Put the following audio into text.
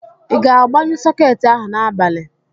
I ga-agbanyụ sọketi ahụ n'abalị?